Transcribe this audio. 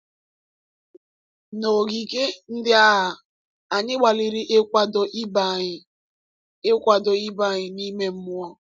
N’ogige ndị agha, anyị gbalịrị ịkwado ibe anyị ịkwado ibe anyị n’ime mmụọ.